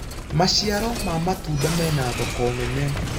maciaro ma matunda mena thoko nene